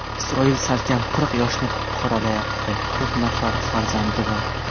Isroil salkam qirq yoshni qoralayapti, to‘rt nafar farzandi bor.